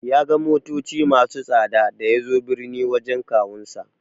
Ya ga motoci masu tsada da yazo birni wajen kawunsa.